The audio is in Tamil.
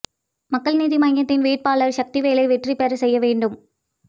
மக்கள் நீதி மய்யத்தின் வேட்பாளர் சக்திவேலை வெற்றி பெற செய்ய வேண்டும்